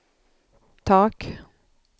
tak